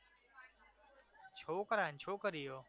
છોકરા અને છોકરીઓ